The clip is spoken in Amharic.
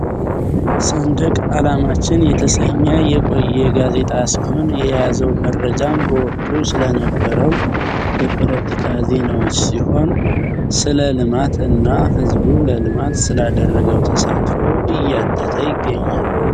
ሰንደቅ አላማችን የተሰኜ የቆየ ጋዜጣ ሲሆን የያዘው መረጃም በወቅቱ ስለነበረው የፖለቲካ ዜናወች ሲሆን ሰለልማት እና ህዝቡ ለልማት ስላደረገው ተሳትፎ እያተተ ይገኛል።